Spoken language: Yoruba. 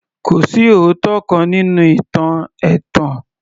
Kò sí òótọ́ kan nínú ìtàn ẹ̀tàn